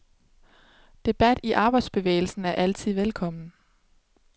Debat i arbejderbevægelsen er altid velkommen.